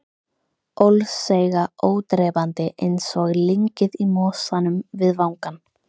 Ólseiga, ódrepandi, einsog lyngið í mosanum við vangann.